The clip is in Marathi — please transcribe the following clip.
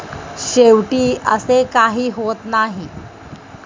शेवटी असे काही होत नाही.